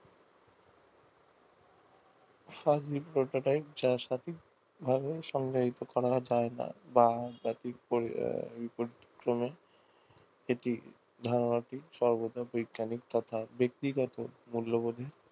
সঠিক ভাবে সম্পাদিত করা যায় না এটি ধারণাটি বৈজ্ঞানিক তথা ব্যাক্তিগত মূল্যবোধের